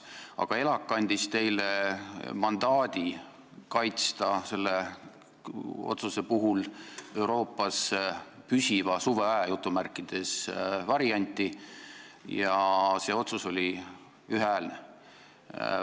ELAK andis teile mandaadi kaitsta Euroopas otsuse tegemisel "püsiva suveaja" varianti ja see otsus oli ühehäälne.